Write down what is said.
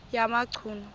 yamachunu